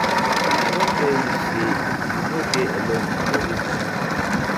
I don tell you sey you no dey alone for dis journey.